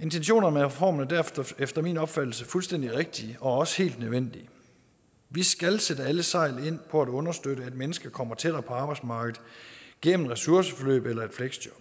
intentionerne med reformen er derfor efter min opfattelse fuldstændig rigtige og også helt nødvendige vi skal sætte alle sejl ind på at understøtte at mennesker kommer tættere på arbejdsmarkedet gennem ressourceforløb eller et fleksjob